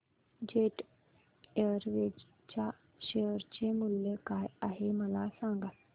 jet Airways च्या share चे मूल्य काय आहे मला सांगा